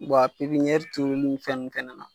Wa a pepiniyɛri turuliw fɛn ninnu fɛnɛ na